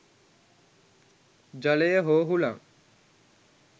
ජලය හෝ හුලං